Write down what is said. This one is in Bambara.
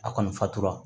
A kɔni fatura